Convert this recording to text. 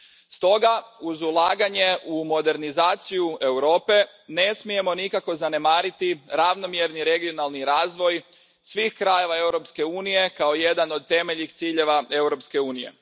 Stoga, uz ulaganje u modernizaciju Europe ne smijemo nikako zanemariti ravnomjerni regionalni razvoj svih krajeva Europske unije kao jedan od temeljnih ciljeva Europske unije.